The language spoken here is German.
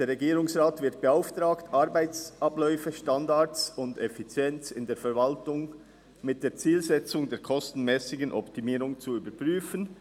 «Der Regierungsrat wird beauftragt, Arbeitsabläufe, Standards und Effizienz in der Verwaltung mit der Zielsetzung der kostenmässigen Optimierung zu überprüfen.